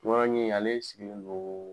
ɲe ale sigilen doo